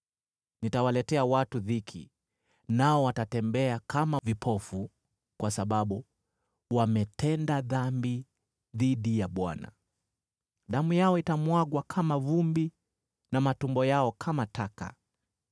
Nitawaletea watu dhiki, nao watatembea kama vipofu, kwa sababu wametenda dhambi dhidi ya Bwana . Damu yao itamwagwa kama vumbi na matumbo yao kama taka.